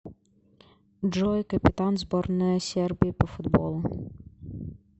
джой капитан сборная сербии по футболу